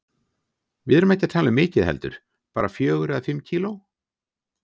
Við erum ekki að tala um mikið heldur, bara fjögur eða fimm kíló.